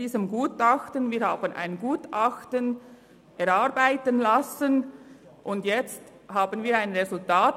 Wir haben ein Gutachten erarbeiten lassen und haben ein Resultat.